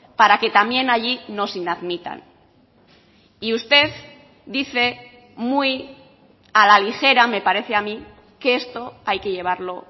para que también allí nos inadmitan y usted dice muy a la ligera me parece a mí que esto hay que llevarlo